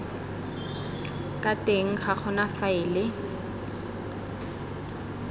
ka teng ga gona faele